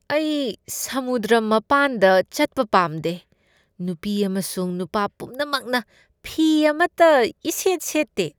ꯑꯩ ꯁꯃꯨꯗ꯭ꯔ ꯃꯄꯥꯟꯗ ꯆꯠꯄ ꯄꯥꯝꯗꯦ꯫ ꯅꯨꯄꯤ ꯑꯃꯁꯨꯡ ꯅꯨꯄꯥ ꯄꯨꯝꯅꯃꯛꯅ ꯐꯤ ꯑꯃꯇ ꯏꯁꯦꯠ ꯁꯦꯠꯇꯦ꯫